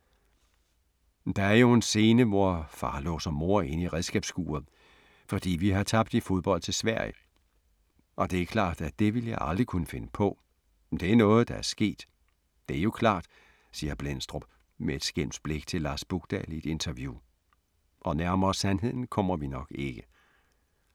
- Der er jo en scene, hvor far låser mor inde i redskabsskuret, fordi vi har tabt i fodbold til Sverige, og det er klart, at det ville jeg aldrig kunne finde på, det er noget der er sket, det er jo klart ... siger Blendstrup med et skælmsk blik til Lars Bukdahl i et interview. Og nærmere sandheden kommer vi nok ikke.